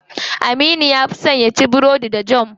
Aminu ya fi son yaci burodi da jam.